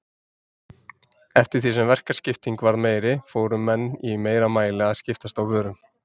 Eftir því sem verkaskipting varð meiri fóru menn í meira mæli að skiptast á vörum.